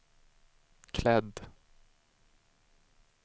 klädd